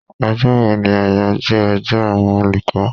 Ọjọ́ wo ni àyájọ́ ọjọ́ àwọn olùkọ́?